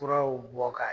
Furaw bɔ ka